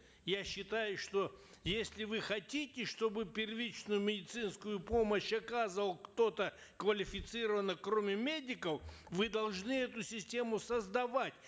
я считаю что если вы хотите чтобы первичную медицинскую помощь оказывал кто то квалифицированный кроме медиков вы должны эту систему создавать